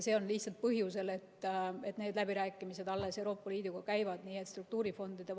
Seda lihtsalt põhjusel, et need läbirääkimised Euroopa Liiduga alles käivad.